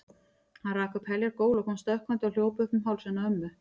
Hann rak upp heljar gól og kom stökkvandi og hljóp upp um hálsinn á ömmu.